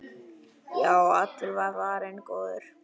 Já, allur var varinn góður!